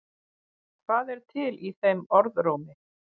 Hvað er til í þeim orðrómi?